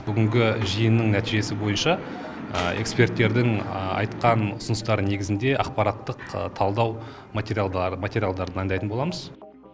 бүгінгі жиынның нәтижесі бойынша эксперттердің айтқан ұсыныстары негізінде ақпараттық талдау материалдар дайындайтын боламыз